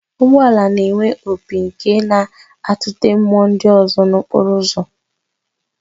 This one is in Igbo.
Ụgbọala na-enwe opi nke na-atụte mmụọ ndị ọzọ nọ n'okporo ụzọ